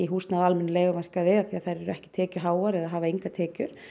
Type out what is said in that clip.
húsnæði á almennum leigumarkaði því þær eru ekki tekjuháar eða hafa engar tekjur